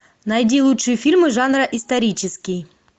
найди лучшие фильмы жанра исторический